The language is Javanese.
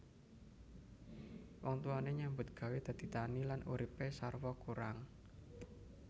Wong tuwane nyambut gawé dadi tani lan uripe sarwa kurang